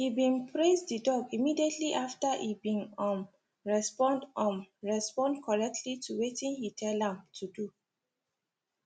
he been praise the dog immediately after e been um respond um respond correctly to wetin he tell am to do